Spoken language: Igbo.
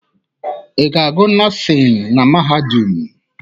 Ị ga-agụ nọọsịn na mahadum?